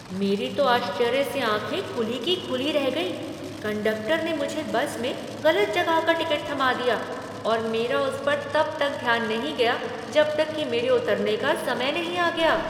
मेरी तो आश्चर्य से आँखें खुली की खुली रह गईं! कंडक्टर ने मुझे बस में गलत जगह का टिकट थमा दिया, और मेरा उस पर तब तक ध्यान नहीं गया जब तक कि मेरे उतरने का समय नहीं आ गया!